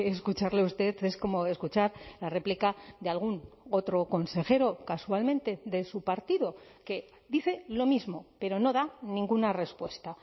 escucharle a usted es como escuchar la réplica de algún otro consejero casualmente de su partido que dice lo mismo pero no da ninguna respuesta